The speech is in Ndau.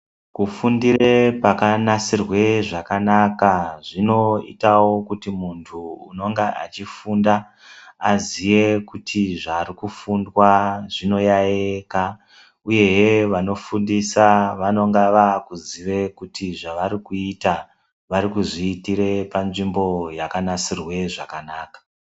Kufundire pakanasirwe zvakanaka zvinoitawo kuti muntu unonga achifunda aziye kuti zvirikufundwa zvinoyayiyika uyezve vanofundisa vanonga vakuziye kuti zvavanoda kuita varikuzviitire panzvimbo yakanasirwe zvakanaka.